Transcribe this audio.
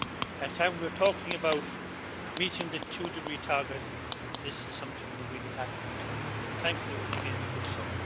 At time we are talking about meeting the two degree target, this is something we really have to tackle and thankfully we are beginning to do so.